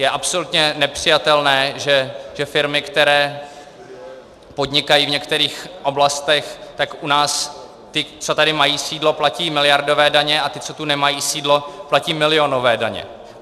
Je absolutně nepřijatelné, že firmy, které podnikají v některých oblastech, tak u nás ty, co tady mají sídlo, platí miliardové daně, a ty, co tu nemají sídlo, platí milionové daně.